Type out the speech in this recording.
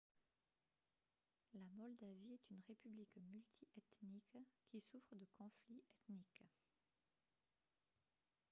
la moldavie est une république multi-ethnique qui souffre de conflits ethniques